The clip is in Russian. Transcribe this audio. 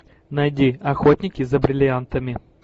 найди охотники за бриллиантами